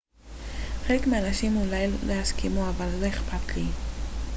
חלק מהאנשים אולי לא יסכימו אבל לא אכפת לי